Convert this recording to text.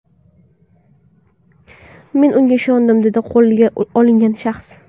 Men unga ishondim”, dedi qo‘lga olingan shaxs.